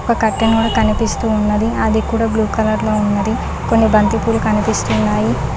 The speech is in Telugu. ఒక కట్టను కనిపిస్తూ ఉన్నది అది కూడా బ్లూ కలర్ లో ఉంకుని బంతిపూలు కనిపిస్తూంది.